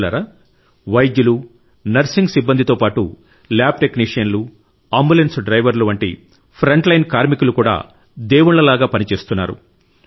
మిత్రులారా వైద్యులు నర్సింగ్ సిబ్బందితో పాటు ల్యాబ్టెక్నీషియన్లు అంబులెన్స్ డ్రైవర్లు వంటి ఫ్రంట్లైన్ కార్మికులు కూడా దేవునిలాగే పనిచేస్తున్నారు